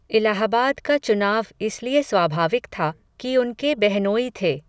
इलाहाबाद का चुनाव इसलिए स्वाभाविक था, कि उनके बेहनोई थे